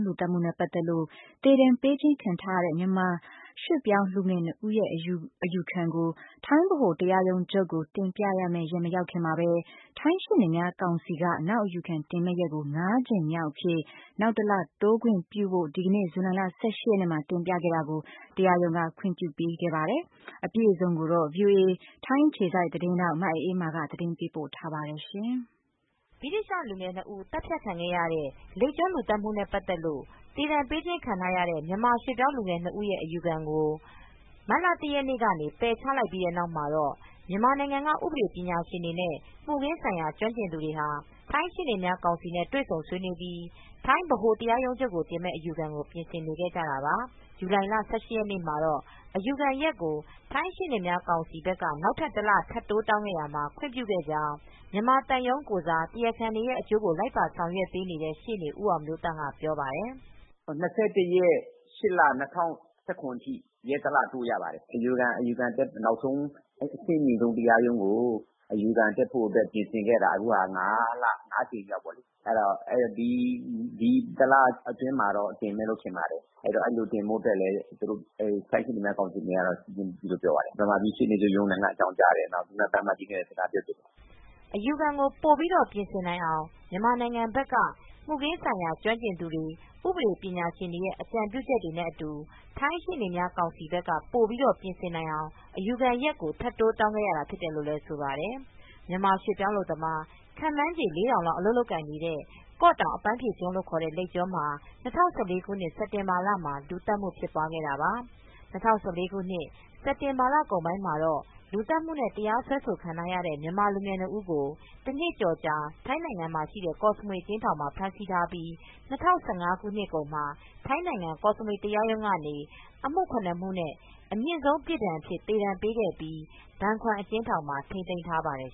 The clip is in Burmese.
လူသတ်မူနဲ့ ပတ်သက်လို့ သေဒဏ်ပေးခြင်းခံထား ရတဲ့ မြန်မာရွှေ့ပြောင်းလူငယ်၂ဦးရဲ့အယူခံကို ထိုင်းဗဟို တရားရုံးချုုပ် ကိုတင်ပြရမယ့် ရက်မရောက်ခင်မှာပဲ ထိုင်းရှေ့နေများကောင်စီ က နောက်အယူခံတင်မယ့် ရက်ကို ၅ကြိမ်မြောက် အဖြစ် နောက်တလတိုးခွင့်ပြုဖို့ အတွက် ဇူလိုင်လ ၁၈ရက်မှာ တင်ပြခဲ့တာကိုတရားရုံးက ခွင့်ပြုပေးခဲ့ပါတယ်။ အပြည့်အစုံကို ဗွီအိုအေ ထိုင်းအခြေစိုက်သတင်းထောက် မအေးအေးမာက သတင်းပေးပို့ထားပါတယ်။ ဗြိတိသျှလူငယ်၂ဦး သတ်ဖြတ်ခံခဲ့ရတဲ့ လိပ်ကျွန်း လူသတ်မူနဲ့ ပတ်သက်လို့သေဒဏ်ပေးခြင်း ခံထားရတဲ့ မြန်မာရွှေ့ပြောင်းလူငယ်၂ဦးရဲ့အယူခံကို မတ်လ၁ရက်နေ့ ကနေ ပယ်ချခံခဲ့ရပြီးနောက်မှာတော့ မြန်မာနိုင်ငံက ဥပဒေပညာရှင်တွေနဲ့ မူခင်းဆိုင်ရာကျွမ်းကျင်သူ တွေဟာ ထိုင်းနိုင်ငံရှေ့နေများကောင်စီနဲ့ တွေဆုံဆွေးနွေးပြီး ထိုင်းဗဟို တရားရုံးချုပ်ကို တင်မယ့် အယူခံကို ပြင်ဆင်နေကြတာပါ။ ဇူလိုင်လ ၁၈ရက်နေ့မှာတော့ အယူခံရက်ကို ထိုင်းရှေ့နေများကောင်စီက နောက်ထပ်တလတိုး တောင်းခဲ့ရာမှာ ခွင့်ပြုခဲ့ကြောင်း မြန်မာသံရုံး ကိုယ်စား တရားခံတွေရဲ့အကျိုးကို လိုက်ပါဆောင်ရွက်ပေးနေတဲ့ ရှေ့နေဦးအောင်မျိုးသန့် ကပြောပါတယ်။ “၂၁ရက် ၈ လ၂၀၁၇ ထိ ရက်တလတိုး ရပါတယ်။ အယူခံအတွက် နောက်ဆုံးအဆင့်မြင့်ဆုံး တရားရုံးကို အယူခံတက်ဖို့ အတွက်ပြင်ဆင်ခဲ့တာ အခုက ၅လ ၅ကြိမ်မြောက်ရှိပါပြီ။ ဒီတလအတွင်းတော့ တင်မယ်လို့ထင်ပါတယ် အဲဒီလိုတင်ဖို့ အတွက်ထိုင်းရှေ့နေများ ကောင်စီဘက်ကနေ မြန်မာနိုင်ငံ ရှေ့နေချုပ်ရုံးကိုလည်း အကြောင်းကြားပါတယ် ။ အခုသံအမတ်ကြီးကိုလည်း အကြောင်းကြားပါတယ်။” အယူခံကိုပိုပြီးပြင်ဆင်နိုင်အောင်မြန်မာနိုင်ငံက မှုခင်းဆိုင်ရာ ကျွမ်းကျင်သူတွေ ဥပဒေပညာရှင်တွေရဲ့ အကြံပြုချက်တွေနဲ့ အတူ ထိုင်းရှေ့နေများကောင်စီ ဘက်က ပိုပြီးပြင်ဆင်နိုင်အောင် အယူခံရက်ကိုထပ်တိုးတောင်းခဲ့ရတာဖြစ်တယ်လို့ ဆိုပါတယ်။ မြန်မာရွှေ့ပြောင်း အလုပ်သမား ခန့်မှန်းချေ ၄,၀၀၀ လောက် အလုပ်လုပ်ကိုင်နေတဲ့ လိပ်ကျွန်းမှာ ၂၀၁၄ ခုနှစ် စက်တင်ဘာ ၁၅ ရက်နေ့က လူသတ်မှု ဖြစ်ပွား ခဲ့ပါတယ်။ ၂၀၁၄ ခုနှစ် စက်တင်ဘာ လကုန်ပိုင်းမှာတော့ လူသတ်မှုနဲ့ တရားစွဲဆို ခံခဲ့ရတဲ့ မြန်မာလူငယ် ၂ ဦးကိုတော့ တနှစ်ကျော်ကြာ ထိုင်းနိုင်ငံ ကော့စမွေ အကျဉ်းထောင်မှာ ဖမ်းဆီးထားပြီး ၂၀၁၅ ခုနှစ်ကုန်မှာ ထိုင်းနိုင်ငံကောစမွေ တရားရုံးကနေ အမူ ၇ မှုနဲ့ အမြင့်ဆုံး ပြစ်ဒဏ်အဖြစ် သေဒဏ်ပေးခဲ့ပြီး ဘန်ခွမ်အကျဉ်းထောင်မှာ ထိန်းသိမ်းထားပါတယ်